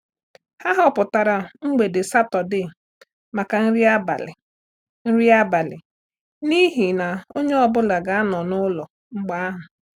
Ha họpụtara mgbede Sátọdee maka nri abalị nri abalị n’ihi na onye ọ bụla ga-anọ n’ụlọ mgbe ahụ.